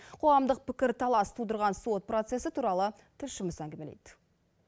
қоғамдық пікірталас тудырған сот процесі туралы тілшіміз әңгімелейді